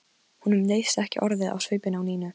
Honum leist ekki orðið á svipinn á Nínu.